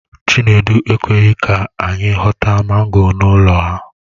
Chinedu ekweghi ka anyi ghọta mango n'ụlọ ha.